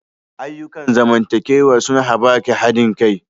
Ayyukan zamantakewa sun haɓaka haɗin kai.